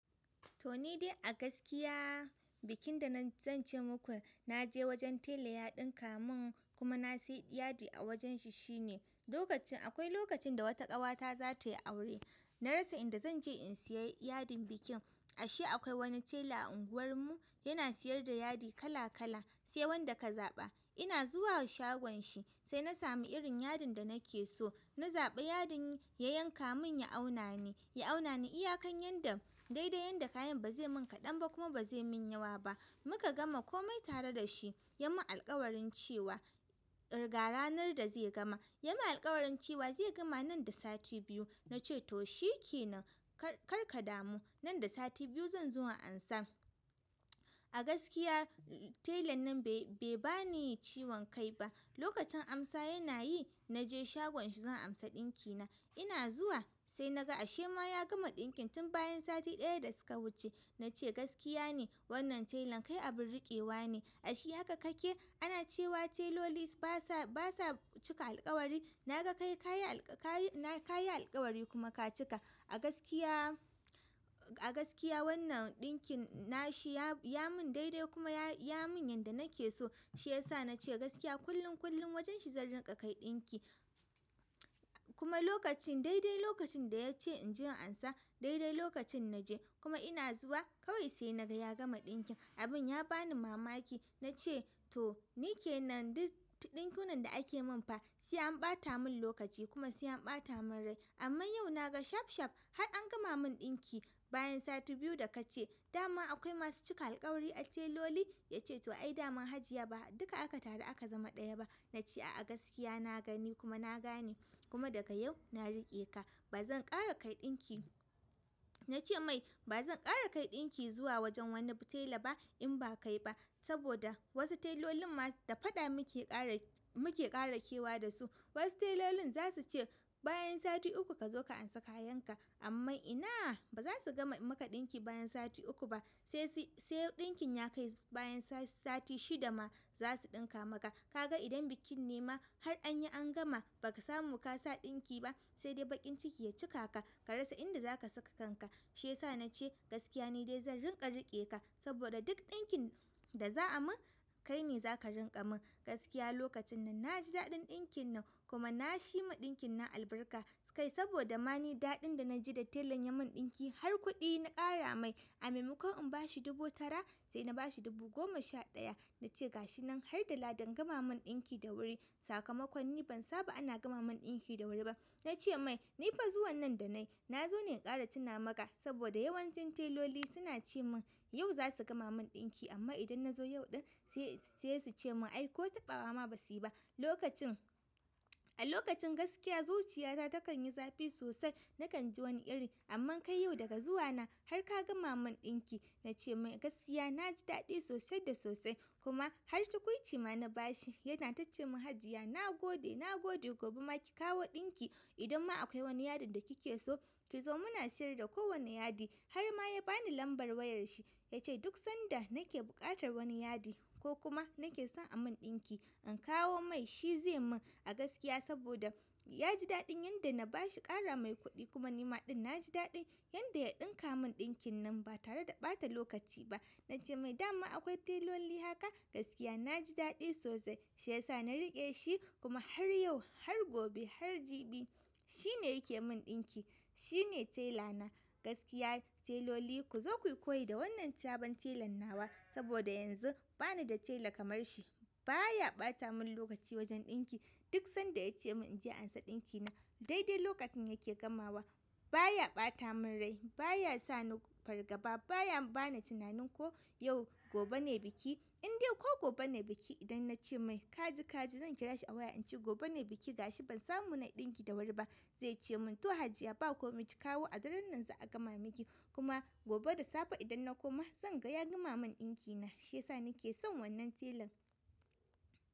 To ni dai a gaskiya bikin da zan ce muku na je wajen tela ya ɗinka mun kuma na sayi yadi a wajen shi shine. Lokacin akwai lokacin da wata ƙawata za tai aure. Na rasa inda zan je in sayi yadin bikin. Ashe akwai wani tela a unguwar mu, yana siyar da yadi kala kala, sai wanda ka zaɓa. Ina zuwa shagon shi sai na samu irin yadin da nake so. Na zaɓa yadin ya yanka mun, ya auna mi, ya auna ni iya kan yadda daidai yadda kayan ba zai mun kaɗan ba kuma ba zai mun yawa ba. Muka gama komai tare da shi. Ya mun alkawarin cewa ga ranar da zai gama. Ya mun alkawarin cewa zai gama nan da sati biyu. Na ce to shi kenan, kar ka damu. Nan da sati biyu zan zo in amsa. A gaskiya telan nan bai ba ni ciwon kai ba. Lokacin amsa yana yi na je shagon shi zan amsa ɗinki na. Ina zuwa sai na ga ashe ma ya gama ɗinkin tun bayan sati ɗaya da suka wuce. Na ce gaskiya ne wannan telan kai abin riƙewa ne. Ashe haka kake? Ana cewa teloli basa, basa cika alkawari. Na ga kai, ka yi, ka yi alkawari kuma ka cika. A gaskiya, a gaskiya wannan ɗinkin na shi ya, ya mun daidai kuma ya mun yanda nake so. Shi ya sa na ce gaskiya kullum, kullum wajen shi zan rinƙa kai ɗinki. Kuma lokacin daidai lokacin da ya ce in je in amsa, daidai lokacin na je. Kuma ina zuwa kawai sai na ga ya gama ɗinkin. Abin ya ba ni mamaki. Na ce to ni ke nan duk ɗinkunan da ake mun fa sai an ɓata mun lokaci kuma sai an ɓata mun rai. Amma yau na ga shaf shaf har an gama mun ɗinki bayan sati biyu da ka ce. Da ma akwai masu cika alkawari a teloli? Ya ce to ai dama Hajiya ba duka aka taru aka zama ɗaya ba. Na ce a gaskiya na gani kuma na gane kuma daga yau na riƙe ka. Ba zan ƙara kai ɗinki. Na ce mai ba zan ƙara kai ɗinki zuwa wajen wani tela ba in ba kai ba saboda wasu telolin ma da faɗa muke ƙara, muke ƙara kewa da su. Wasu telolin zasu ce bayan sati uku kazo ka ansa kayan ka amma ina ba za su gama maka ɗinki bayan sati uku ba. Sai, sai ɗinkin ya kai bayan sati shida ma za su ɗinka maka. Ka ga idan bikin nema har anyi an gama ba ka samu ka sa ɗinki ba sai dai baƙin ciki ya cika ka, ka rasa inda za ka saka kanka. Shi yasa nace gaskiya nidai zan riƙa riƙe ka sabida duk ɗinkin da za ai mun kai ne zaka riƙa mun gaskiya lokacin nan naji daɗin ɗinkin nan kuma na shi ma ɗinkin nan albarka, kai saboda mani daɗi da na ji da telan ya mun ɗinki har kuɗi na ƙara mai. A maimakon in bashi dubu tara sai na bashi dubu goma sha ɗaya. Na ce ga shi nan har da ladan gama mun ɗinki da wuri. Sakamakon ni ban saba ana gama mun ɗinki da wuri ba. Na ce mai ni fa zuwa nan da nayi, na zo ne in ƙara cina maka saboda yawancin teloli suna ce mun yau za su gama mun ɗinki amma idan na zo yau ɗin sai su ce mun ai ko taɓawa ma ba su yi ba. Lokacin, a lokacin gaskiya zuciya ta takan yi zafi sosai. Na kan ji wani irin amman kai yau daga zuwa na har ka gama mun ɗinki. Na ce mai gaskiya na ji daɗi sosai da sosai. Kuma har tukuici ma na bashi yana tace mun Hajiya nagode nagode gobe ma ki kawo ɗinki idan ma akwai wani yadin da kike so ki zo muna siyar da ko wani yadi harma ya bani lambar wayar shi ya ce duk sanda nake buƙatar wani yadi ko kuma nake son a mun ɗinki in kawo mai shi zai mun. A gaskiya saboda ya ji daɗin yanda na bashi ƙara mai kuɗi kuma nima ɗin na ji daɗi yanda ya ɗinka mun ɗinkin nan ba tare da ɓata lokaci ba. Na ce mai dama akwai teloli haka? Gaskiya na ji daɗi sosai. Shi ya sa na riƙe shi kuma har yau, har gobe, har jibi shi ne yake mun ɗinki. Shi ne tela na. Gaskiya teloli ku zo kuyi koyi da wannan sabon telan nawa saboda yanzu bani da tela kamar shi. Ba ya ɓata mun lokaci wajen ɗinki. Duk sanda ya ce mun in je in amsa ɗinki na daidai lokacin yake gamawa. Ba ya ɓata mun rai, ba ya sa ni fargaba, ba ya ba na tunanin ko yau gobe ne biki. In dai ko gobe ne biki idan na ce mai ka ji, ka ji zan kira shi a waya in ce gobe ne biki ga shi ban samu na ɗinki da wuri ba. Zai ce mun to Hajiya ba komi ki kawo a daren nan za a gama miki. Kuma gobe da safe idan na koma zan ga ya gama mun ɗinki na. Shi ya sa ni ke son wannan telan.